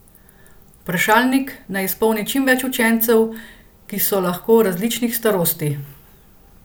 Vprašalnik naj izpolni čim več učencev, ki so lahko različnih starosti.